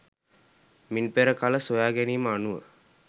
මින් පෙර කල සොයාගැනීම අනුව